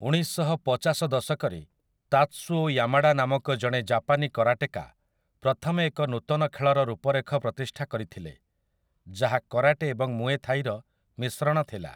ଉଣେଇଶଶହପଚାଶ ଦଶକରେ Tatsuo Yamada ନାମକ ଜଣେ ଜାପାନୀ କରାଟେକା ପ୍ରଥମେ ଏକ ନୂତନ ଖେଳର ରୂପରେଖ ପ୍ରତିଷ୍ଠା କରିଥିଲେ ଯାହା କରାଟେ ଏବଂ ମୁଏ ଥାଇର ମିଶ୍ରଣ ଥିଲା ।